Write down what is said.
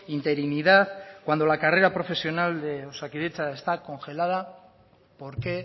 interinidad cuando la carrera profesional de osakidetza está congelada por qué